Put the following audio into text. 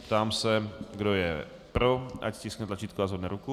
Ptám se, kdo je pro, ať stiskne tlačítko a zvedne ruku.